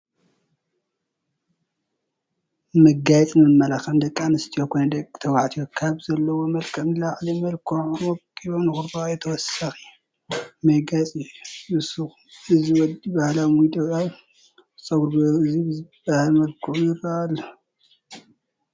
መጋየፅን መመላኽዕን፡- ደቂ ኣንስትዮ ኮነ ደቂ ተባትዮ ካብቲ ዘለዎም መልክዕ ንላዕሊ መልኪዖምን ወቂቦምን ንኽራኣዩ ተወሰኽቲ መጋየፂታት ይውስኹ፡፡ እዚ ወዲ ባህላዊ ሚዶ ኣብ ፀጉሩ ጌሩ እዚ ብዝባሃል መልኪዑ ይረአ ኣሎ፡፡